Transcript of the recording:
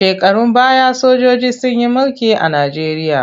Shekarun baya sojiji sun yi mulki a Najeriya.